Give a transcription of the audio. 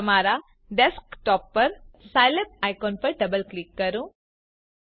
તમારા ડેસ્કટોપ પર હાજર સાઈલેબ આઈકોન પર ડબલ ક્લિક કરી સાઈલેબ શરૂ કરો